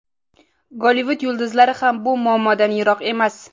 Gollivud yulduzlari ham bu muammodan yiroq emas.